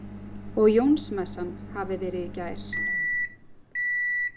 Og Jónsmessan hafi verið í gær.